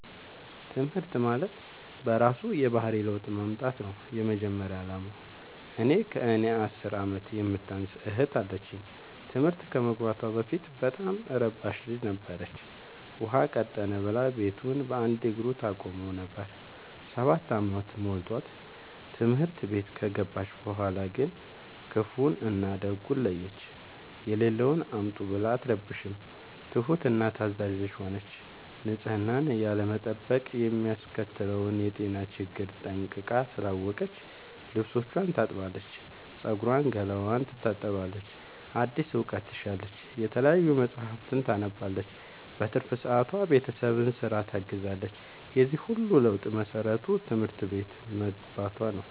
ትምህርት ማለት በእራሱ የባህሪ ለውጥ ማምጣት ነው የመጀመሪያ አላማው። እኔ ከእኔ አስር አመት የምታንስ እህት አለችኝ ትምህርት ከመግባቷ በፊት በጣም እረባሽ ልጅ ነበረች። ውሃ ቀጠነ ብላ ቤቱን በአንድ እግሩ ታቆመው ነበር። ሰባት አመት ሞልቶት ትምህርት ቤት ከገባች በኋላ ግን ክፋውን እና ደጉን ለየች። የሌለውን አምጡ ብላ አትረብሽም ትሁት እና ታዛዣ ልጅ ሆነች ንፅህናን ያለመጠበቅ የሚያስከትለውን የጤና ችግር ጠንቅቃ ስላወቀች ልብስቿን ታጥባለች ፀጉሯን ገላዋን ትታጠባለች አዲስ እውቀት ትሻለች የተለያዩ መፀሀፍትን ታነባለች በትርፍ ሰዓቷ ቤተሰብን ስራ ታግዛለች የዚህ ሁሉ ለውጥ መሰረቱ ትምህርት ቤት መግባቶ ነው።